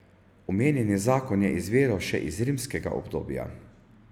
Omenjeni zakon je izviral še iz rimskega obdobja.